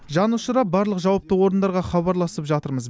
жан ұшыра барлық жауапты орындарға хабарласып жатырмыз